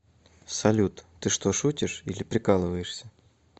салют ты что шутишьили прикалываешься